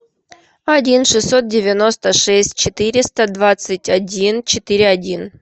один шестьсот девяносто шесть четыреста двадцать один четыре один